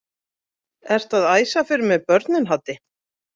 Ertu að æsa fyrir mér börnin Haddi!